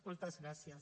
moltes gràcies